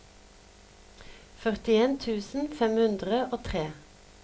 førtien tusen fem hundre og tre